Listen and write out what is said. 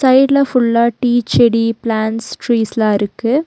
சைடுல ஃபுல்லா டீ செடி பிளான்ட்ஸ் ட்ரீஸ்லா இருக்கு.